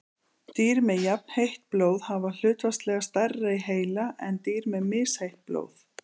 Dýr með jafnheitt blóð hafa hlutfallslega stærri heila en dýr með misheitt blóð.